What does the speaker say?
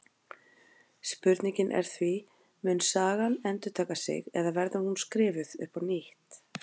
Spurningin er því: Mun sagan endurtaka sig eða verður hún skrifuð upp á nýtt?